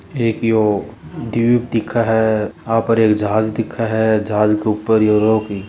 एक यो द्वीप दिखे है आ पर एक जहाज दिखे है जहाज के ऊपर यो रोक--